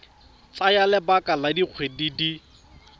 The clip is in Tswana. tsaya lebaka la dikgwedi di